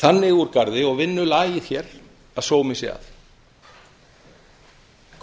þannig úr garði og vinnulagið hér að sómi sé að